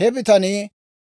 He bitanii